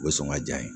O ye sɔngɔn diya ye